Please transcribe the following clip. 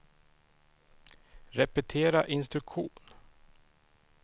repetera instruktion